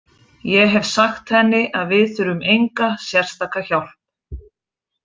Ég hef sagt henni að við þurfum enga sérstaka hjálp.